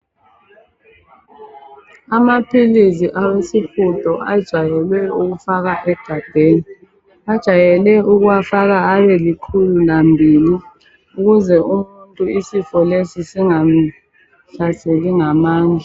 Amaphilizi awesihudo ajayele ukufakwa egabheni .Bajayele ukuwafaka abelikhulu lambili .Ukuze umuntu isifo lesi singamuhlaseli ngamandla.